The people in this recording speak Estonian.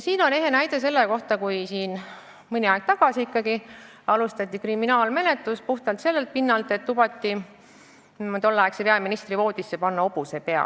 Ehe näide selle kohta on mõni aeg tagasi olnud juhtum, kui kriminaalmenetlust alustati puhtalt sellelt pinnalt, et isik lubas tolleaegse peaministri voodisse panna hobuse pea.